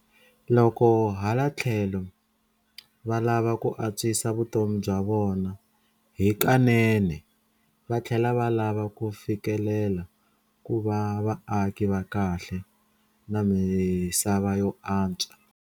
Loko hala tlhelo valava ku antswisa vutomi bya vona hikanene, vatlhela va lava ku fikelela ku va vaaki va kahle na misava yo antswa.